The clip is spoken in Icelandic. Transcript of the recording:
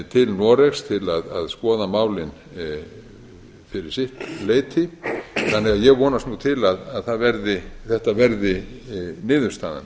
til noregs til að skoða málin fyrir sitt leyti þannig að ég vonast nú til að þetta verði niðurstaðan